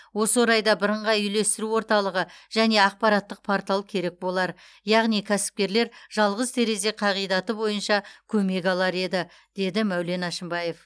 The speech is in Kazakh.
осы орайда бірыңғай үйлестіру орталығы және ақпараттық портал керек болар яғни кәсіпкерлер жалғыз терезе қағидаты бойынша көмек алар еді деді мәулен әшімбаев